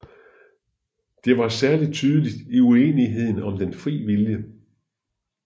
Det var særlig tydeligt i uenigheden om den frie vilje